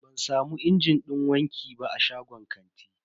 Ban samu injin din wanki ba a shagon kantin.